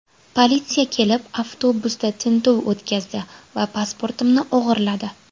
Politsiya kelib, avtobusda tintuv o‘tkazdi va pasportimni o‘g‘irladi.